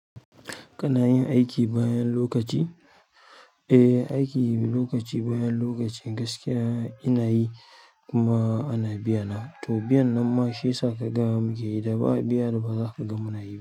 Kana yin aiki bayan lokaci? Eh, aiki lokaci bayan lokaci gaskiya ina yi kuma ana biya na, to, biyan nan ma shi ya sa ka gama, da ba biya da ba za ka ga mu na yi ba,